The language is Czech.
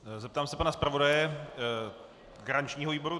Zeptám se pana zpravodaje garančního výboru.